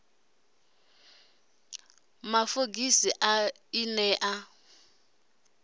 ḽa fogisi ḽi ne ḽa